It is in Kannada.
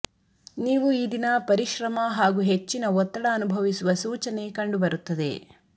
ನೀವು ಈ ದಿನ ಪರಿಶ್ರಮ ಹಾಗೂ ಹೆಚ್ಚಿನ ಒತ್ತಡ ಅನುಭವಿಸುವ ಸೂಚನೆ ಕಂಡು ಬರುತ್ತದೆ